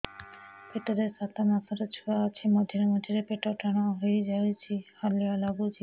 ପେଟ ରେ ସାତମାସର ଛୁଆ ଅଛି ମଝିରେ ମଝିରେ ପେଟ ଟାଣ ହେଇଯାଉଚି ହାଲିଆ ଲାଗୁଚି